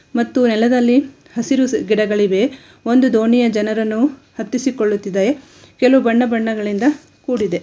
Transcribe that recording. ಮತ್ತು ನೆಲದಲ್ಲಿ ಹಸಿರು ಗಿಡಗಳಿವೆ ಒಂದು ದೋಣಿಯ ಜನರನ್ನು ಹತ್ತಿಸಿಕೊಳ್ಳುತ್ತಿದ್ದಾರೆ ಕೆಲವು ಬಣ್ಣ ಬಣ್ಣಗಳಿಂದ ಕೂಡಿದೆ.